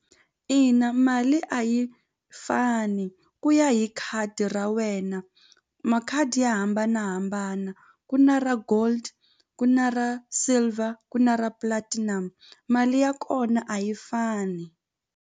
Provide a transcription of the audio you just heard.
Ina mali a yi fani ku ya hi khadi ra wena makhadi ya hambanahambana ku na ra gold ku na ra silver ku na ra platinum mali ya kona a yi fani.